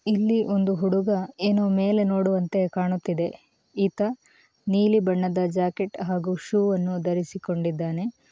ಇಲ್ಲಿ ಒಂದು ಹುಡುಗ ಏನೋ ಮೇಲೆ ನೋಡುವಂತೆ ಕಾಣುತ್ತಿದೆ ಈತ ನೀಲಿ ಬಣ್ಣದ ಜಾಕೆಟ್ ಹಾಗೂ ಶೂ ಅನ್ನು ಧರಿಸಿಕೊಂಡಿದ್ದಾನೆ.